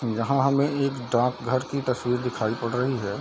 यहा हमे एक डाक घर की तस्वीर दिखाई पड़ रही है।